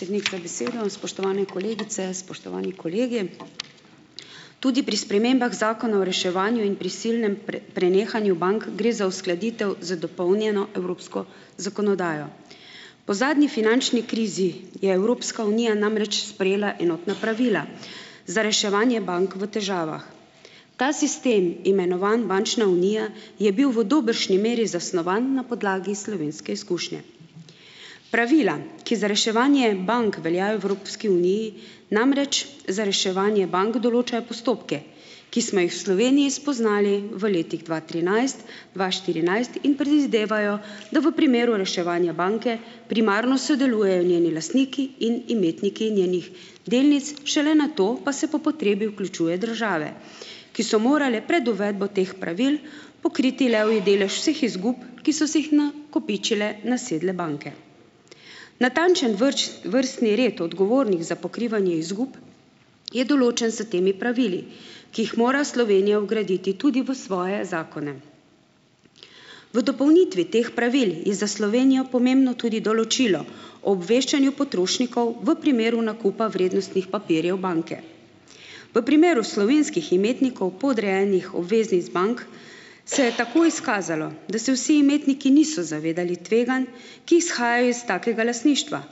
Cednik, za besedo. Spoštovane kolegice, spoštovani kolegi. Tudi pri spremembah Zakona o reševanju in prisilnem prenehanju bank gre za uskladitev z dopolnjeno evropsko zakonodajo. Po zadnji finančni krizi je Evropska unija namreč sprejela enotna pravila za reševanje bank v težavah. Ta sistem, imenovan bančna unija, je bil v dobršni meri zasnovan na podlagi slovenske izkušnje. Pravila, ki za reševanje bank veljajo v Evropski uniji, namreč za reševanje bank določajo postopke, ki smo jih v Sloveniji spoznali v letih dva trinajst, dva štirinajst in predvidevajo, da v primeru reševanja banke primarno sodelujejo njeni lastniki in imetniki njenih delnic, šele nato pa se po potrebi vključuje države, ki so morale pred uvedbo teh pravil pokriti levji delež vseh izgub, ki so si jih na kopičile nasedle banke. Natančen vrstni red odgovornih za pokrivanje izgub je določen s temi pravili, ki jih mora Slovenija vgraditi tudi v svoje zakone. V dopolnitvi teh pravil je za Slovenijo pomembno tudi določilo o obveščanju potrošnikov v primeru nakupa vrednostnih papirjev banke. V primeru slovenskih imetnikov podrejenih obveznic bank se je tako izkazalo, da se vsi imetniki niso zavedali tveganj, ki izhajajo iz takega lastništva,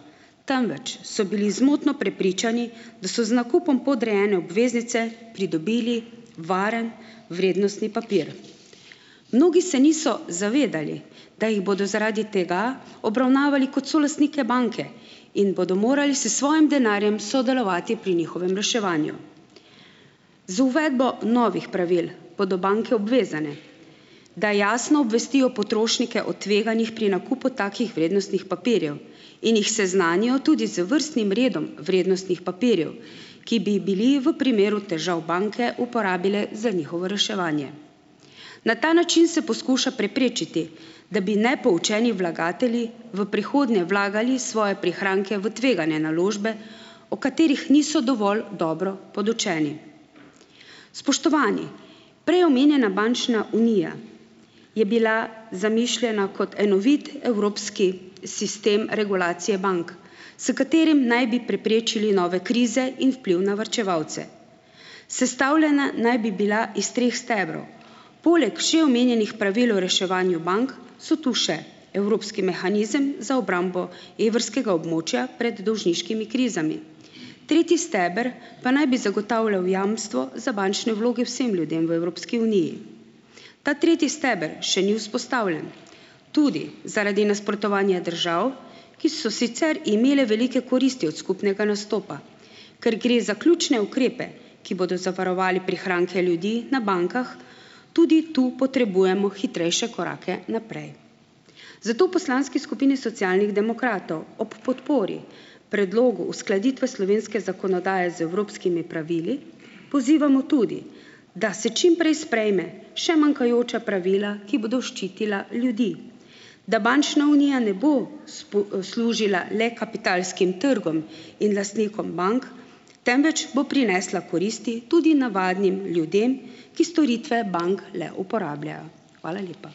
temveč so bili zmotno prepričani, da so z nakupom podrejene obveznice pridobili varen vrednostni papir. Mnogi se niso zavedali, da jih bodo zaradi tega obravnavali kot solastnike banke in bodo morali s svojem denarjem sodelovati pri njihovem reševanju. Z uvedbo novih pravil bodo banke obvezane, da jasno obvestijo potrošnike o tveganjih pri nakupu takih vrednostnih papirjev in jih seznanijo tudi z vrstnim redom vrednostnih papirjev, ki bi bili v primeru težav banke uporabile za njihovo reševanje. Na ta način se poskuša preprečiti, da bi nepoučeni vlagatelji v prihodnje vlagali svoje prihranke v tvegane naložbe, o katerih niso dovolj dobro podučeni. Spoštovani, prej omenjena bančna unija je bila zamišljena kot enovit evropski sistem regulacije bank, s katerim naj bi preprečili nove krize in vpliv na varčevalce. Sestavljena naj bi bila iz treh stebrov. Poleg še omenjenih pravil o reševanju bank so tu še evropski mehanizem za obrambo evrskega območja pred dolžniškimi krizami. Tretji steber pa naj bi zagotavljal jamstvo za bančne vloge vsem ljudem v Evropski uniji. Ta tretji steber še ni vzpostavljen tudi zaradi nasprotovanja držav, ki so sicer imele velike koristi od skupnega nastopa. Ker gre za ključne ukrepe, ki bodo zavarovali prihranke ljudi na bankah, tudi to potrebujemo hitrejše korake naprej. Zato v poslanski skupini Socialnih demokratov ob podpori predlogu uskladitve slovenske zakonodaje z evropskimi pravili, pozivamo tudi, da se čim prej sprejme še manjkajoča pravila, ki bodo ščitila ljudi, da bančna unija ne bo služila le kapitalskim trgom in lastnikom bank, temveč bo prinesla koristi tudi navadnim ljudem, ki storitve bank le uporabljajo. Hvala lepa.